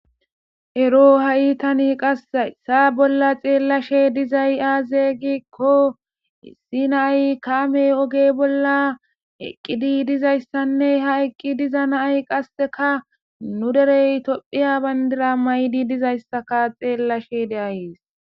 Ero ha'i tani qassi hayssa bolla xeellashe dizay aaze giikko issi nayi kaamiya oge bolla eqqidi diza issanne ha eqqi diza nayi qasseka nu derey tophiya bandira mayidi diza issaka xeellashe dayis.